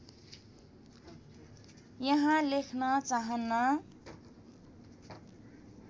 यहाँ लेख्न चाहन्न